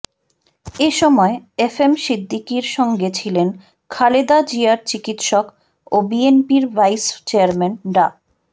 এ সময় F M সিদ্দিকীর সঙ্গে ছিলেন খালেদা জিয়ার চিকিৎসক ও বিএনপির ভাইস চেয়ারম্যান ডা